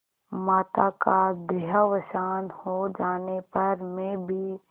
माता का देहावसान हो जाने पर मैं भी